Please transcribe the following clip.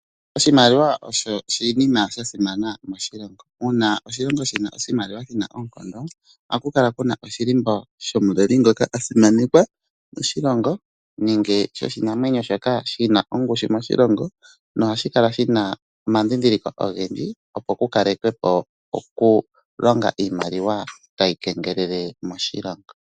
Oshimaliwa osho oshinima sha simana moshilongo. Uuna oshilongo shina oshimaliwa shina oonkondo, ohaku kala kuna oshilimbo shomuleli ngoka a simanekwa moshilongo nenge shoshinamwenyo shoka shina ongushu moshilongo. Nohashi kala shina omadhidhiliko ogendji opo ku kalekwe po okulonga iimaliwa tayi kengelele moshilongo.